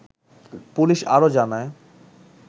police আরো জানায়